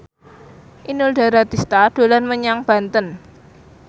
Inul Daratista dolan menyang Banten